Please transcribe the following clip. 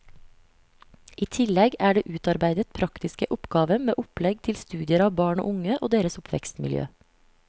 I tillegg er det utarbeidet praktiske oppgaver med opplegg til studier av barn og unge og deres oppvekstmiljø.